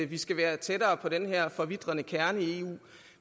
vi skal være tættere på den her forvitrende kerne i eu